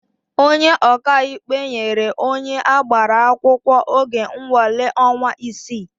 Onye ọkaikpe nyere onye agbara akwụkwọ oge nnwale ọnwa isii.